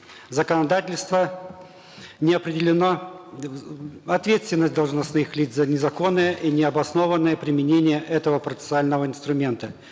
законодательство не определено ответственность должностных лиц за незаконное и необоснованное применение этого процессуального инструмента